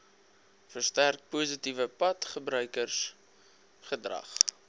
versterk positiewe padgebruikersgedrag